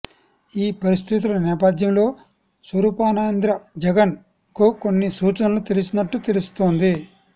ఈ పరిస్థితుల నేపథ్యంలో స్వరూపానందేంద్ర జగన్ కు కొన్ని సూచనలు చేసినట్టు తెలుస్తోంది